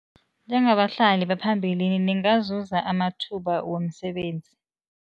Njengabahlali baphambilini ningazuza amathuba womsebenzi.